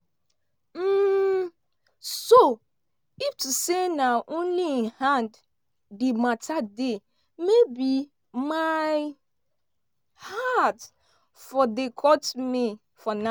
um so if to say na only im hand di mata dey maybe my heart for dey cut me for now.